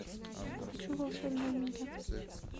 хочу волшебная миля